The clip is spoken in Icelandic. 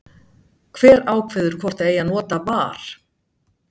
Hver ákveður hvort það eigi að nota VAR?